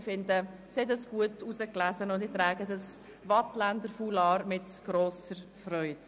Ich finde, dass sie eine gute Wahl getroffen hat, und trage dieses Foulard mit grosser Freude.